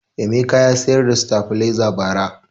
Emeka ya siyar da sitabiliza ba ra